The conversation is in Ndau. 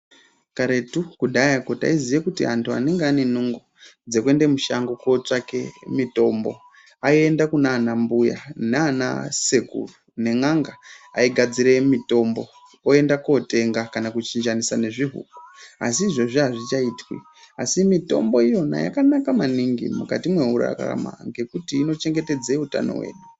Karetu, kudhayako, taiziya kuti antu anenge anenungo dzekuende mushango kootsvake mitombo aienda kunaanambuya naanasekuru nen'anga, aigadzire mitombo, oendekotenga kana kuchinjanisa nezvihuku., asi izvozvi hazvichaitwi, asi mitombo iyona yakanaka maningi mukati mwekurarama ngekuti inochengetedza utano hwedu.